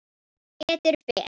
Sem betur fer?